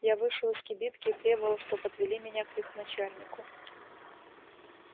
я вышел из кибитки и требовал чтоб отвели меня к их начальнику